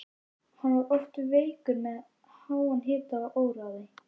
Hann var oft veikur með háan hita og óráði.